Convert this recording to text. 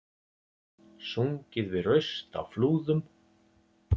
Sungið við raust á Flúðum